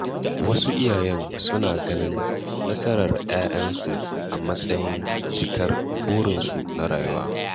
Wasu iyaye suna ganin nasarar ‘ya’yansu a matsayin cikar burinsu na rayuwa.